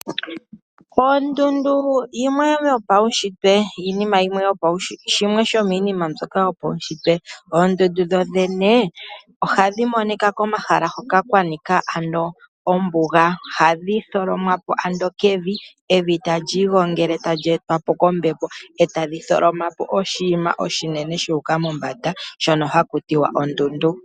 Ondundu shimwe shomiinima mbyoka yopawushitwe, oondundu dhodhene ohadhi monika komahala hoka kwanika ano ombuga. Ohadhi tholomwa po ando kevi, evi tali igongele tali etwa po kombepo etali tholoma po oshinima oshinene shu uka mombanda, shono haku tiwa ondundu.